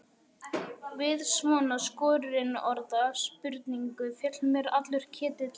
Við svona skorinorða spurningu féll mér allur ketill í eld.